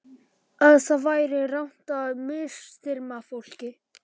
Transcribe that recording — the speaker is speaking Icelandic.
Að það væri rangt að misþyrma fólki.